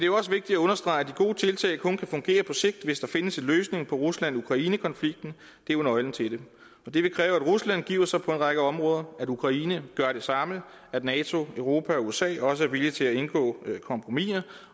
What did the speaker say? jo også vigtigt at understrege at de gode tiltag kun kan fungere på sigt hvis der findes en løsning på rusland ukraine konflikten det er jo nøglen til det det vil kræve at rusland giver sig på en række områder at ukraine gør det samme at nato europa og usa også er villige til at indgå kompromiser